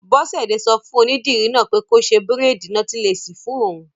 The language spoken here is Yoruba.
Bọ́sẹ̀dé sọ fún onídìrí náà pé kó ṣe bírèèdì nọ́tílẹ́ẹ̀sì fún òun